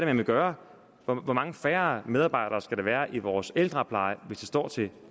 man vil gøre hvor mange færre medarbejdere skal der være i vores ældrepleje hvis det står til